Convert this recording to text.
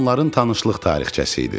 Bu onların tanışlıq tarixçəsi idi.